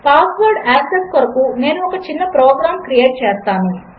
పాస్వర్డ్యాక్సెస్కొరకునేనుఒకచిన్నప్రోగ్రాంక్రియేట్చేస్తాను